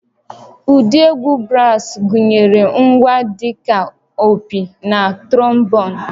Ụdị egwu brass gụnyere ngwa dị ka opi na trombon